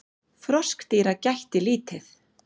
Froskdýra gætti lítið.